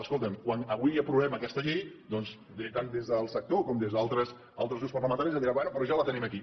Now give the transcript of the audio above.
escolta’m quan avui aprovem aquesta llei doncs tant des del sector com des d’altres grups parlamentaris em diran bé però ja la tenim aquí